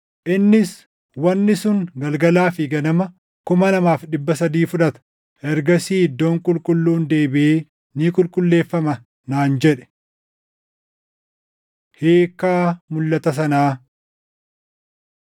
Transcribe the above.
Innis, “Wanni sun galgalaa fi ganama 2,300 fudhata; ergasii iddoon qulqulluun deebiʼee ni qulqulleeffama” naan jedhe. Hiikkaa Mulʼata sanaa